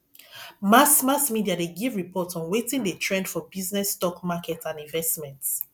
mass mass media de give report on wetin de trend for business stock market and investments